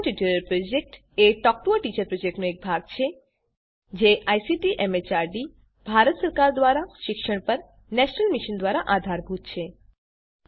spoken tutorial project a talk to a teacher પ્રોજેક્ટનો એક ભાગ છે અને જે આઇસીટી એમએચઆરડી ભારત સરકાર દ્વારા શિક્ષણ પર નેશનલ મિશન દ્વારા આધારભૂત છે